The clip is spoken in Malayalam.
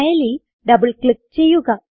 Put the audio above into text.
ഫയലിൽ ഡബിൾ ക്ലിക്ക് ചെയ്യുക